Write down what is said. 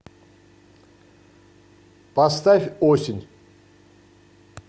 поставь осень